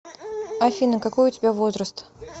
афина какой у тебя возраст